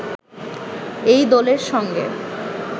এই দলের সঙ্গে